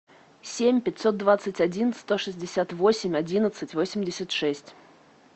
семь пятьсот двадцать один сто шестьдесят восемь одиннадцать восемьдесят шесть